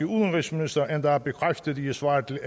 udenrigsminister endda bekræftet i et svar til